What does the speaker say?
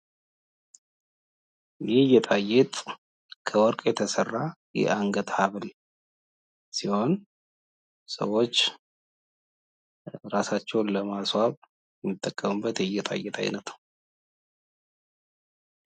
ይህ ጌጣ ጌጥ ከወርቅ የተስራ የአንገት ሀብል ሲሆን ሰዎች እራሳቸውን ለማስዋብ የሚጠቀሙበት የጌጣ ጌጥ አይነት ነው።